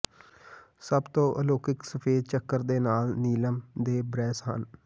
ਸਭ ਤੋਂ ਅਲੌਕਿਕ ਸਫੈਦ ਚੱਕਰ ਦੇ ਨਾਲ ਨੀਲਮ ਦੇ ਬ੍ਰੇਸ ਹਨ